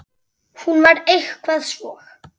Hún var eitthvað svo.